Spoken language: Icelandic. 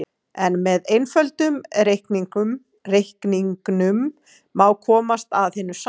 En með einföldum reikningum má komast að hinu sanna.